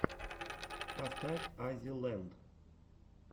поставь аззи ленд